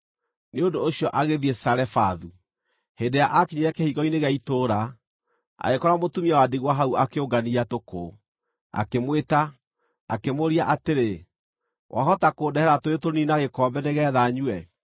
Nĩ ũndũ ũcio agĩthiĩ Zarefathu. Hĩndĩ ĩrĩa aakinyire kĩhingo-inĩ gĩa itũũra, agĩkora mũtumia wa ndigwa hau akĩũngania tũkũ. Akĩmwĩta, akĩmũũria atĩrĩ, “Wahota kũndehera tũũĩ tũnini na gĩkombe nĩgeetha nyue?”